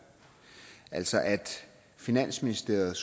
altså at finansministeriet